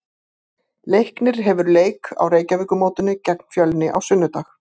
Leiknir hefur leik á Reykjavíkurmótinu gegn Fjölni á sunnudag.